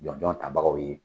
Jɔnjɔn tabagaw ye